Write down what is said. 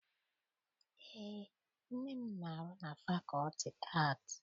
Eé, nne m na-arụ na fakọlti aatị.